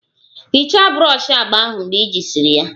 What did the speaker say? Hichaa brọshi agba ahụ mgbe ejisiri ya!